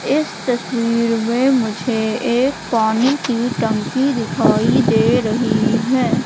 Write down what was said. इस तस्वीर में मुझे एक पानी की टंकी दिखाई दे रही है।